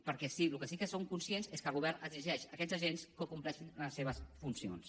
perquè del que sí que som conscients és que el govern exigeix a aquests agents que compleixin les seves funcions